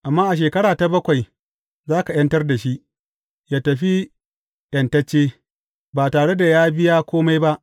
Amma a shekara ta bakwai, za ka ’yantar da shi, yă tafi ’yantacce, ba tare da ya biya kome ba.